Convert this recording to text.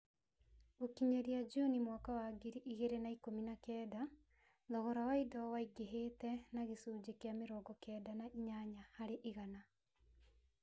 Gũkinyĩria Juni mwaka wa ngiri igĩrĩ na ikũmi na kenda, thogora wa indo waingĩhĩte na gĩcunjĩ kĩa mĩrongo kenda na inyanya harĩ igana.